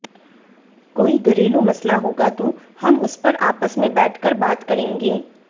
कोई घरेलू मसला होगा तो हम उस पर आपस में बैठ कर बात करेंगे